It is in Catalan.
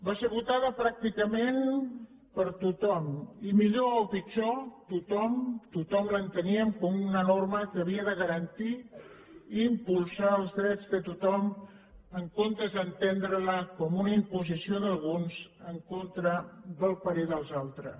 va ser votada pràcticament per tothom i millor o pitjor tothom l’enteníem com una norma que havia de garantir i impulsar els drets de tothom en comptes d’entendrela com una imposició d’alguns en contra del parer dels altres